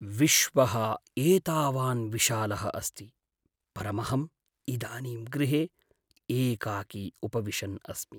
विश्वः एतावान् विशालः अस्ति, परमहं इदानीम् गृहे एकाकी उपविशन् अस्मि।